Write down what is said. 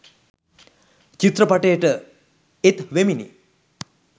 චිත්‍රපටයට එත් වෙමිනි